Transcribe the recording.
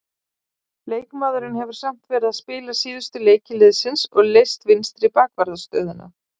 Leikmaðurinn hefur samt verið að spila síðustu leiki liðsins og leyst vinstri bakvarðarstöðuna.